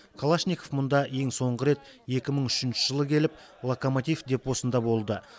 калашников мұнда ең соңғы рет екі мың үшінші жылы келіп локомотив депосында болды